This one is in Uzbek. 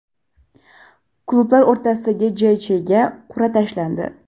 Klublar o‘rtasidagi JChga qur’a tashlandi.